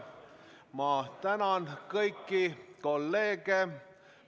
Ma tänan kõiki kolleege!